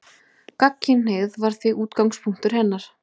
Gagnkynhneigð var því útgangspunktur hennar.